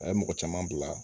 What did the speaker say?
A ye mɔgɔ caman bila